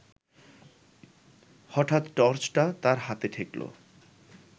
হঠাৎ টর্চটা তার হাতে ঠেকল